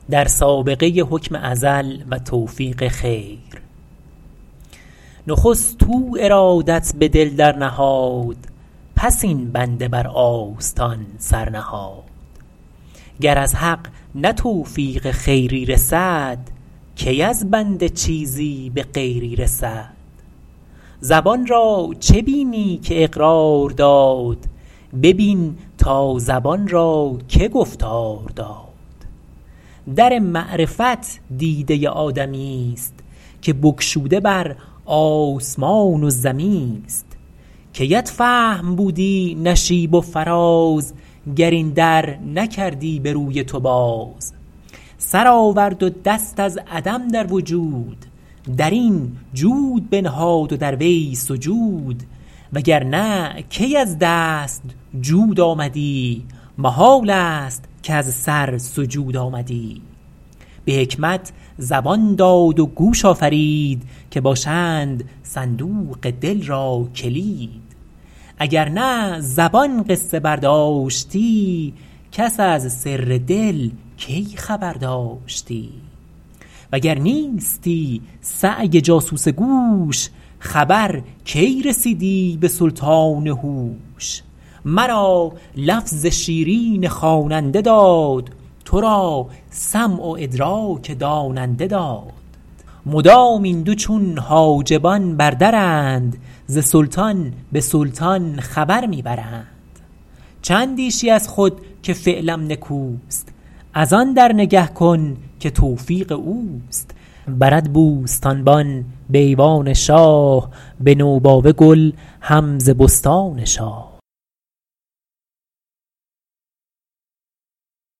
نخست او ارادت به دل در نهاد پس این بنده بر آستان سر نهاد گر از حق نه توفیق خیری رسد کی از بنده چیزی به غیری رسد زبان را چه بینی که اقرار داد ببین تا زبان را که گفتار داد در معرفت دیده آدمی است که بگشوده بر آسمان و زمی است کیت فهم بودی نشیب و فراز گر این در نکردی به روی تو باز سر آورد و دست از عدم در وجود در این جود بنهاد و در آن سجود وگرنه کی از دست جود آمدی محال است کز سر سجود آمدی به حکمت زبان داد و گوش آفرید که باشند صندوق دل را کلید اگر نه زبان قصه برداشتی کس از سر دل کی خبر داشتی وگر نیستی سعی جاسوس گوش خبر کی رسیدی به سلطان هوش مرا لفظ شیرین خواننده داد تو را سمع و ادراک داننده داد مدام این دو چون حاجبان بر درند ز سلطان به سلطان خبر می برند چه اندیشی از خود که فعلم نکوست از آن در نگه کن که توفیق اوست برد بوستانبان به ایوان شاه به نوباوه گل هم ز بستان شاه